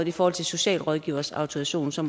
i forhold til socialrådgiveres autorisation så